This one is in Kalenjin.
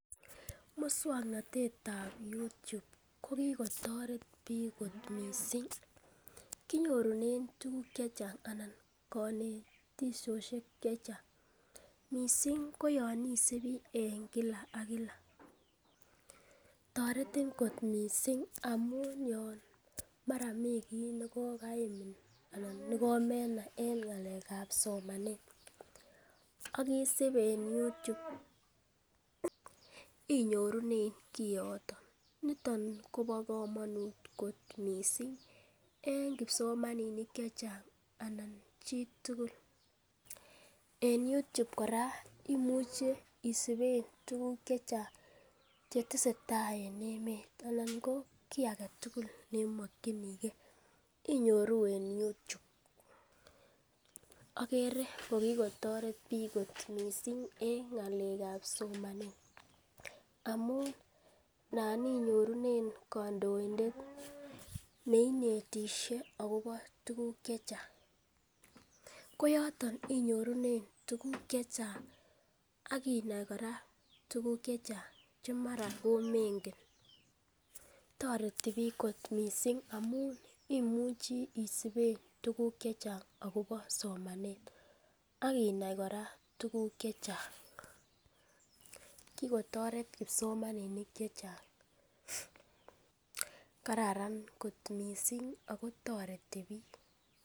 Muswoknatet ab Youtube ko kigotoret biik mising, kinyorunen tuguk che chang anan konetishosiek che chang, mising koyon isibi en kila ak kila. Toretin kot mising amun yon mara mi kiy nekokaimin anan ne komenai en ng'alekab somanet ak isib en youtube inyorunen kiiyoto. Niton kobo komonut kot mising en kipsomaninik che chang anan chitugul en youtube kora imuche isiben tuguk che chang che tesetai en emet anan ko kiy age tugul ne imokinigeinyoru en youtube. Agere ko kigotoret biik kot mising en ng'alekab somanet amun, nan inyorunen kondoindet ne inetishe agobo tuguk che chang. Ko yoto inyorunen tuguk che chang ak inai kora tuguk che chang che mara komengen. Toreti biik kot mising amun imuchi isiben tuguk che chang agobo somanet ak inai kora tuguk che chang. Kigotoret kipsomaninik che chang. Kararan kot mising ago toreti biik.